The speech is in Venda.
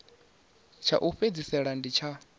tsha u fhedzisela ndi tsha